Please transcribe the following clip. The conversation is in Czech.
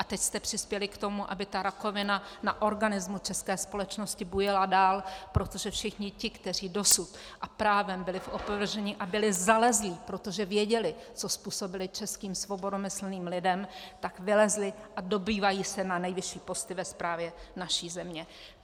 A teď jste přispěli k tomu, aby ta rakovina na organismu české společnosti bujela dál, protože všichni ti, kteří dosud, a právem, byli v opovržení a byli zalezlí, protože věděli, co způsobili českým svobodomyslným lidem, tak vylezli a dobývají se na nejvyšší posty ve správě naší země.